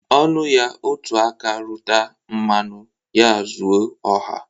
Ọ nụya, otu aka rụta mmanụ ya zu ọha.